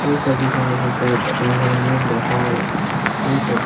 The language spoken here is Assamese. এই ছবিখনৰ ভিতৰত এটা হল ৰুম দেখা গৈছে।